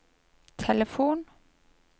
telefon